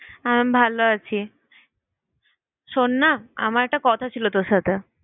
আহ ভালো আছি। শোন না, আমার একটা কথা ছিল তোর সাথে